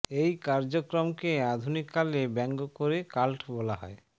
এই কার্যক্রমকে আধুনিক কালে ব্যাঙ্গ করে কাল্ট বলা হয়